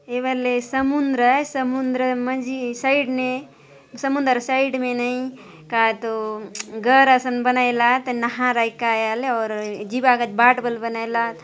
ए बले समुन्द्र आय समुंद्र मंजी साइड ने समुंद्रर साइड में नहीं काय तो घर असन बनाए ला आत नहर आय की काय आय आयले आउर जिबा काजे बाट बले बनाय ला आत।